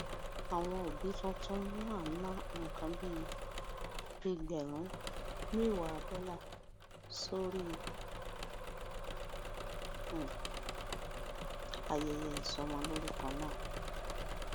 àwọn òbí tuntun náà ná nǹkan bí ẹgbèrún méwàá dólà sórí um ayẹyẹ ìsọmọlórúkọ náà